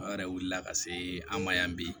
Aw yɛrɛ wilila ka se an ma yan bi